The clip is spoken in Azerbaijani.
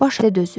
Baş dözür.